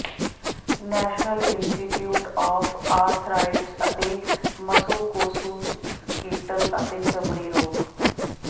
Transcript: national Institute of Arthritis ਅਤੇ musculoskeletal ਅਤੇ ਚਮੜੀ ਰੋਗ